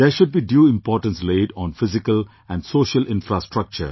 There should be due importance laid on physical and social infrastructure